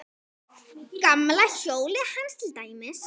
Gamla hjólið hans til dæmis.